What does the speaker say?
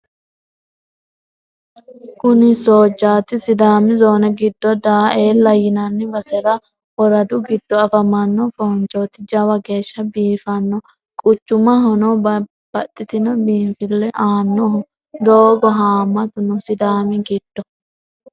Kuni soojjaati sidaami zoone giddo daaeella yinanni basera woradu giddo afamano fonchoti jawa geeshsha biifano quchumahono baxxitino biinfile aanoho togoohu hamatu no sidaami giddo.